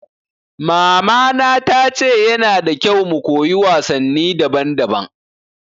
Mama na ta ce ya na da kyau mu koyi wasanni daban daban